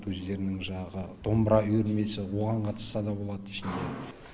өздерінің жаңағы домбыра үйірмесі оған қатысса да болады ішінде